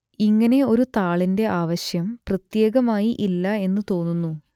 ഇങ്ങനെ ഒരു താളിന്റെ ആവശ്യം പ്രത്യേകമായി ഇല്ല എന്നു തോന്നുന്നു